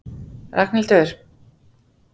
Ragnhildur